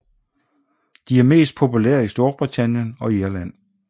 De er mest populære i Storbritannien og Irland